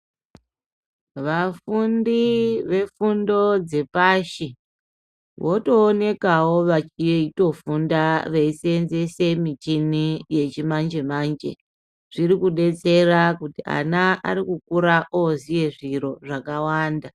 Vafundi vefundo dzepashi, votoonekawo vachitofunda veiseenzese michhini yechimanje-manje. Zviri kudetsera kuti vana vanokira vooziya zviro zvakawanda.